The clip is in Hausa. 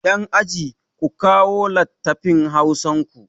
Yan aji, ku kawo lattafin hausar ku!